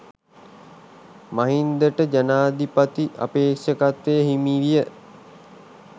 මහින්දට ජනාධිපති අපේක්ෂකත්වය හිමි විය